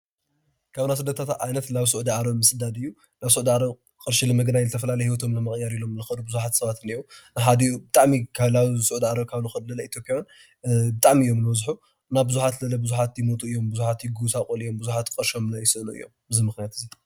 ካብ ናይ ስደታት ዓይነት ናብ ስዑድ ዓረብ ምስዳድ እዩ፡፡ ናብ ስዑደ ዓረብ ቅርሺ ንምግናይ ንዝተፈላለየ ሂወቶም ንምቅያር ኢሎም ዝከዱ ቡዙሓት ሰባት እኒአው፡፡ ብሓደ ብጣዕሚ ካብ ናብ ሱዑደ ዓረብ ዝከዱ ኢትዮጵያዊ ብጣዕሚ እዮም ዝበዝሑ፡፡ እና ቡዙሓት ይሞቱ እዮም ፤ ብዙሓት ይጎሳቆሉ እዮም፤ ብዙሓት ቅርሾም ይስእኑ እዮም ብምክንያት እዚ...